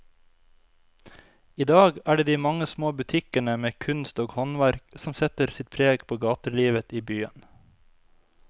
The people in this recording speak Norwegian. I dag er det de mange små butikkene med kunst og håndverk som setter sitt preg på gatelivet i byen.